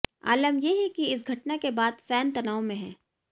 आलम ये है कि इस घटना के बाद फैन तनाव में है